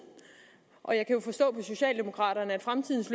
og jeg kan jo forstå på socialdemokraterne at fremtidens